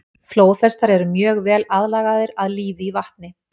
Flóðhestar eru mjög vel aðlagaðir að lífi í vatni.